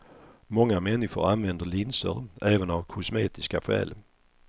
Många människor använder linser även av kosmetiska skäl.